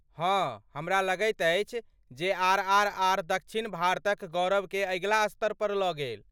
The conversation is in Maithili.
हँ, हमरा लगैत अछि जे आर.आर.आर. दक्षिण भारतक गौरवकेँ अगिला स्तर पर लऽ गेल।